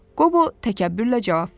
Qobo təkəbbürlə cavab verdi.